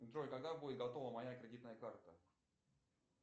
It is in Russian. джой когда будет готова моя кредитная карта